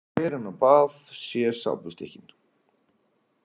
Fer inn á bað, sé sápustykkin.